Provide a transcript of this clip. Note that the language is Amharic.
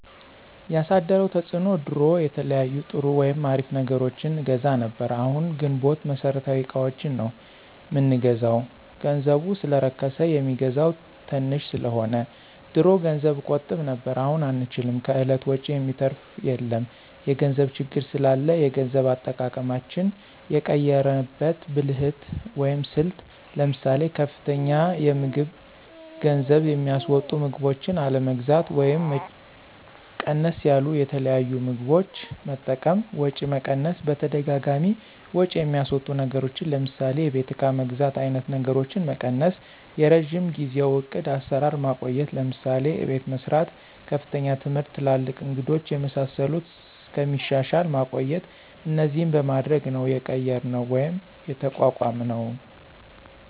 ያሳደረው ተፅዕኖ ድሮ የተለያዩ ጥሩ ወይም አሪፍ ነገሮችን አገዛ ነብር አሁን ግንቦት መሠረታዊ እቃዎችን ነው ምንገዛው ገንዘቡ ሰለረከስ የሚገዛው ተንሽ ሰለሆነ። ድሮ ገንዘብ እቆጥብ ነብር አሁን አንችልም ከእለት ወጭ የሚተራፍ የለም የገንዘብ ችግር ስላላ የገንዘብ አጠቃቀማችን የቀየራንበት ብልህት ወይም ስልት ለምሳሌ፦ ከፍተኛ የምግብ ገንዝብ የሚስወጡ ምግቦችን አለመግዛት ወይም ወጫቸው ቀነስ ያሉት የተለያዩ ምግቦች መጠቀም፣ ወጪ መቀነስ በተደጋጋሚ ወጭ የሚያስወጡ ነገሮችን ለምሳሌ የቤት እቃ መግዛት አይነት ነገሮችን መቀነሰ፣ የረጅም ጊዜው ዕቅድ አሰራር ማቆየት ለምሳሌ፦ አቤት መሰራት፣ ከፍተኛ ትምህርት ትላልቅ እንግዶች የመሳሰሉት እስከሚሻሻል ማቆየት እነዚህን በማድረግ ነው የቀየራነው ወይም የተቋቋምነውደ